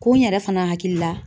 Ko n yɛrɛ fana hakili la